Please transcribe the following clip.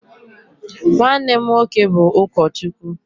nwanne m nwoke bụ ụkọchukwu